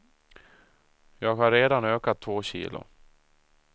Jag har redan ökat två kilo.